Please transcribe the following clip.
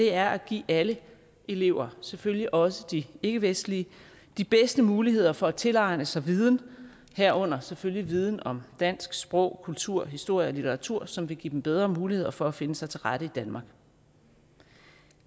er at give alle elever selvfølgelig også de ikkevestlige de bedste muligheder for at tilegne sig viden herunder selvfølgelig viden om dansk sprog kultur historie og litteratur som vil give dem bedre muligheder for at finde sig til rette i danmark